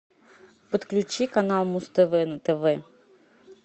подключи канал муз тв на тв